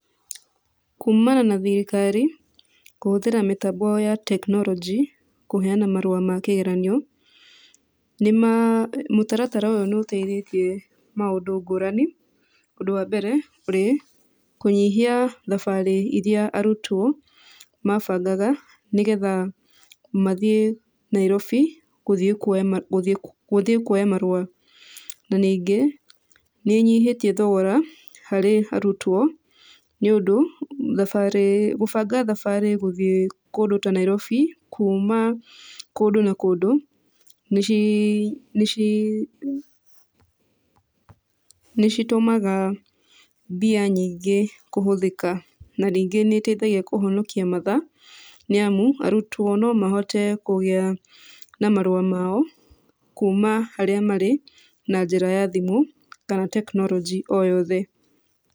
Kumana na thirikari, kũhũthĩra mĩtambo ya technology kũheana marũa ma kĩgeranio, nĩ mũtaratara ũyũ nĩ ũteithĩtie maũndũ ngũrani. Ũndũ wa mbere ũrĩ, kũnyihia thabarĩ irĩa arutwo, mabangaga nĩgetha mathiĩ Nairobi, kũthiĩ kuoya gũthiĩ gũthiĩ kuoya marũa. Na ningĩ, nĩ ĩnyihĩtie thogora, harĩ arutwo, nĩ ũndũ, thabarĩ gũbanga thabarĩ gũthiĩ kũndũ ta Nairobi, kuuma kũndũ na kũndũ, nĩ nĩ nĩ citũmaga mbia nyingĩ kũhũthĩka. Na rĩngĩ nĩ ĩteithagia kũhonokia mathaa, nĩ amu, arutwo no mahote kũgĩa na marũa mao, kuuma harĩa marĩ, na njĩra ya thimũ kana technology o yothe.